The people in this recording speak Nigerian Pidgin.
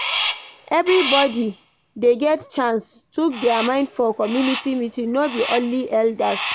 Everybodi dey get chance tok their mind for community meeting no be only elders.